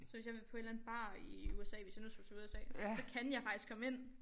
Så hvis jeg vil på en eller anden bar i USA hvis jeg nu tog til USA så kan jeg faktisk komme ind